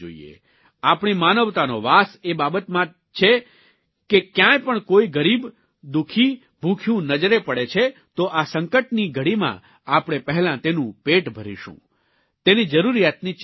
આપણી માનવતાનો વાસ એ બાબતમાં જ છે કે ક્યાંય પણ કોઇ ગરીબ દુઃખી ભૂખ્યું નજરે પડે છે તો આ સંકટની ઘડીમાં આપણે પહેલાં તેનું પેટ ભરીશું તેની જરૂરીયાતની ચિંતા કરીશું